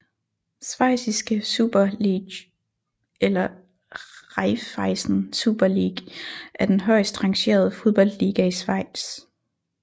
Schweiziske Super League eller Raiffeisen Super League er den højest rangerede fodboldliga i Schweiz